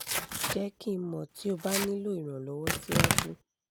jẹ ki n mọ ti o ba nilo iranlọwọ siwaju